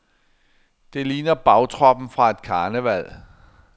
Det ligner bagtroppen fra et karneval.